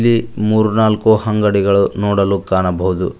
ಈ ಮೂರ್ನಾಲ್ಕು ಅಂಗಡಿಗಳು ನೋಡಲು ಕಾಣಬಹುದು.